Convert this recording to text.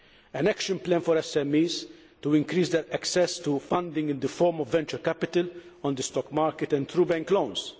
an action plan for SMEs, to increase their access to funding in the form of venture capital, on the stock market and through bank loans